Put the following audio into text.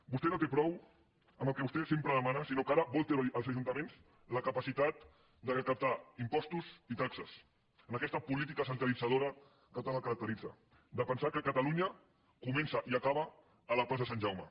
vostè no en té prou amb el que vostè sempre demana sinó que ara vol treure als ajuntaments la capacitat de recaptar impostos i taxes en aquesta política centralitzadora que tant el caracteritza de pensar que catalunya comença i acaba a la plaça de sant jaume